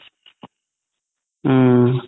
উম